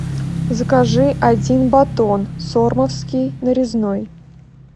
закажи один батон сормовский нарезной